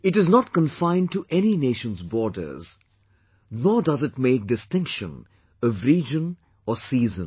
It is not confined to any nation's borders, nor does it make distinction of region or season